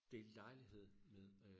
Delte lejlighed med øh